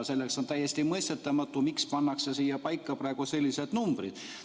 On täiesti mõistetamatu, miks pannakse siin praegu paika sellised numbrid.